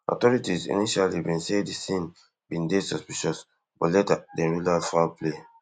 authorities initially bin say di scene bin dey suspicious but later dem rule out foul play